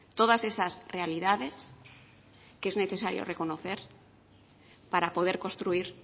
todas esas realidades que es necesario reconocer para poder construir